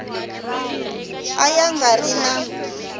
a ya nga ri na